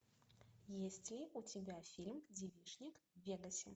есть ли у тебя фильм девичник в вегасе